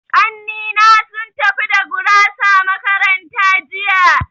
Ƙanni na sun tafi da gurasa makaranta jiya.